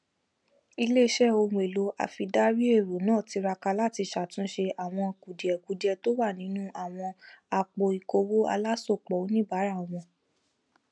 iléiṣẹ ohunèlò afidariẹrọ náà tiraka láti ṣàtúnṣe àwọn kùdìẹkudiẹ tó wà nínú àwọn àpòikowó alásopọ oníbàárà wọn